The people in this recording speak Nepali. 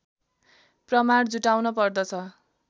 प्रमाण जुटाउन पर्दछ